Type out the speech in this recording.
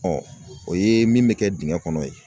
o ye min bɛ kɛ dingɛ kɔnɔ ye